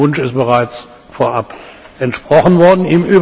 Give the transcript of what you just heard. Ihrem Wunsch ist also bereits vorab entsprochen worden.